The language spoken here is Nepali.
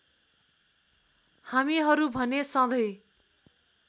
हामीहरू भने सधैँ